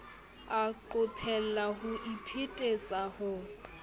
a qophella ho iphetetsa ho